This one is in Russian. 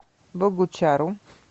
богучару